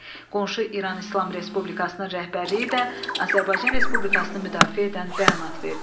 Qonşu İran İslam Respublikasının rəhbərliyi də Azərbaycan Respublikasını müdafiə edən bəyanat verdi.